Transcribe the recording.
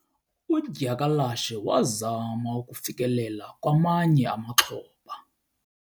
Udyakalashe wazama ukufikelela kwamanye amaxhoba.